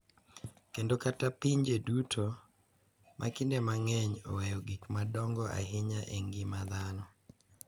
Kendo kata pinje duto, ma kinde mang’eny oweyo gik madongo ahinya e ngima dhano.